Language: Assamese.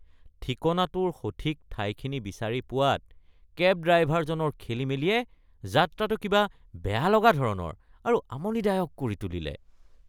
ঠিকনাটোৰ সঠিক ঠাইখিনি বিচাৰি পোৱাত কেব ড্ৰাইভাৰজনৰ খেলিমেলিয়ে যাত্ৰাটো কিবা বেয়া লগা ধৰণৰ আৰু আমনিদায়ক কৰি তুলিছে।